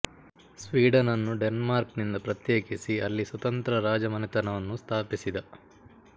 ಸ್ವೀಡನನ್ನು Denmark ನಿಂದ ಪ್ರತ್ಯೇಕಿಸಿ ಅಲ್ಲಿ ಸ್ವತಂತ್ರ ರಾಜಮನೆತನವನ್ನು ಸ್ಥಾಪಿಸಿದ